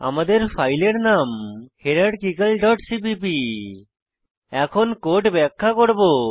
আমাদের ফাইলের নাম হায়ারার্কিক্যাল ডট সিপিপি এখন কোড ব্যাখ্যা করব